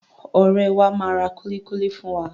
Ọ̀rẹ́ẹ wa máa ra kúlíkúlí fún wa.